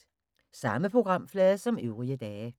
Samme programflade som øvrige dage